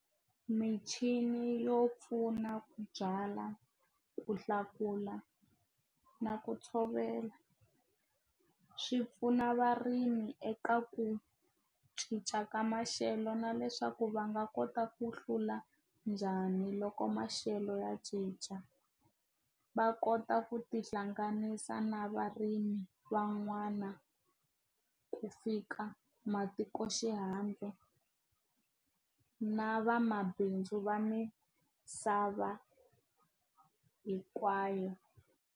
Michini yo pfuna ku byala ku hlakula na ku tshovela swi pfuna varimi eka ku cinca ka maxelo na leswaku va nga kota ku hlula njhani loko maxelo ya cinca va kota ku tihlanganisa na varimi van'wana ku fika matiko xihandle na vamabindzu va misava hinkwayo.